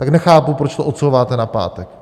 Tak nechápu, proč to odsouváte na pátek.